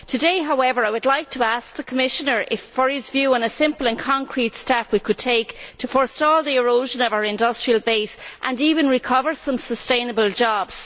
Today, however, I would like to ask the Commissioner for his view on a simple and concrete step we could take to forestall the erosion of our industrial base and even to recover some sustainable jobs.